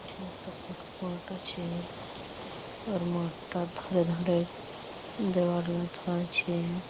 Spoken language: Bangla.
পিছনে একটা ফাঁকা মাঠ আছে আর মাঠটার ধারে ধারে দেয়াল গাঁথা আছে।